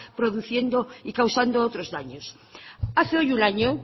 produciendo y causando otros daños hace hoy un año